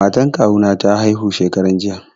Matan kawu na ta haihu shekaran jiya.